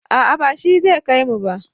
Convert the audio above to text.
a'a ba shi zai kaimu ba